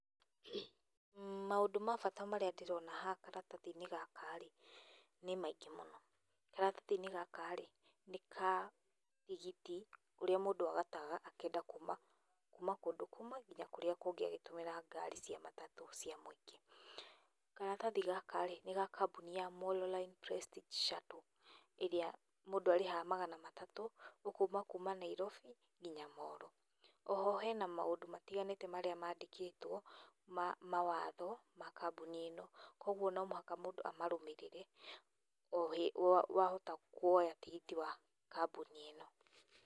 Maũndũ mabata marĩa ndĩrona haha karatathi-inĩ gaka-rĩ nĩ maingĩ mũno. Karatati-inĩ gaka nĩ ka tigiti ũrĩa mũndũ agataga akĩenda kuma kũndũ kũmwe nginya kũrĩa kũngũ agĩtũmĩra ngari cia matatũ cia mũingĩ. Karatathi gaka-rĩ nĩ ga kambuni ya Molo Line Prestige Shuttle, ĩrĩa mũndũ arĩhaga magana matatũ ũkuma kuma Nairobi nginya Molo. Oho hena maũndũ matiganĩte marĩa mandĩkĩtwo mawatho ma kambuni ĩno. Koguo nomũhaka mũndũ amarũmĩrĩre wahota kũoya tigiti wa kambuni ĩno.